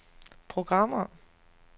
programmer